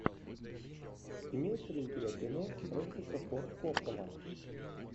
имеется ли у тебя кино фрэнсиса форд коппола